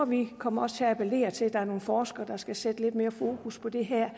vi kommer til at appellere til at der er nogle forskere der skal sætte lidt mere fokus på det her